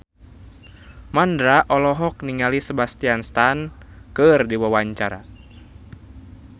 Mandra olohok ningali Sebastian Stan keur diwawancara